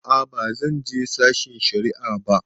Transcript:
A'a ba zan je sashen shari'a ba.